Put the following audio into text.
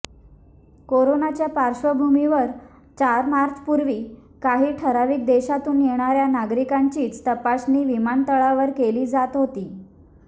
करोनाच्या पार्श्वभूमीवर चार मार्चपूर्वी काही ठराविक देशातून येणाऱ्या नागरिकांचीच तपासणी विमानतळावर केली जात होती